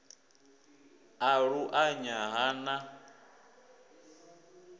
a lu anya ha na